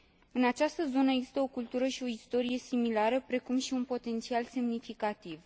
În această zonă există o cultură și o istorie similare, precum și un potențial semnificativ.